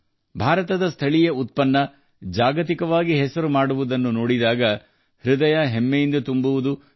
ಭಾರತದ ಸ್ಥಳೀಯ ಉತ್ಪನ್ನಗಳು ಜಾಗತಿಕ ಮಟ್ಟಕ್ಕೆ ಹೋಗುವುದನ್ನು ನೋಡಿದಾಗ ಹೆಮ್ಮೆ ಪಡುವುದು ಸಹಜ